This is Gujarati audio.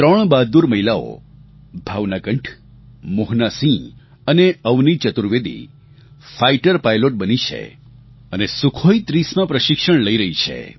ત્રણ બહાદુર મહિલાઓ ભાવના કંઠ મોહના સિંહ અને અવની ચતુર્વેદી ફાઇટર પાઇલૉટ બની છે અને સુખોઈ30માં પ્રશિક્ષણ લઈ રહી છે